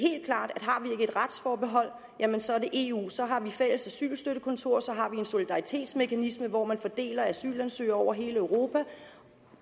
retsforbehold så er det eu så har vi fælles asylstøttekontor så har vi en solidaritetsmekanisme hvor man fordeler asylansøgere over hele europa